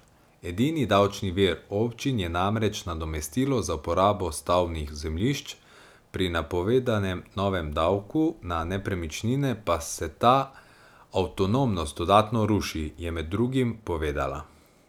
Edini davčni vir občin je namreč nadomestilo za uporabo stavbnih zemljišč, pri napovedanem novem davku na nepremičnine pa se ta avtonomnost dodatno ruši, je med drugim povedala.